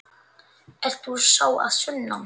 Ert þú sá að sunnan?